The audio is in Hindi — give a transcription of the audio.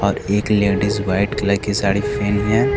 और एक लेडिस व्हाइट कलर की साड़ी पहनी है।